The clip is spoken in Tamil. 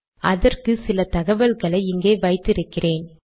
அதற்கு சில தகவல்களை இங்கே வைத்து இருக்கிறேன்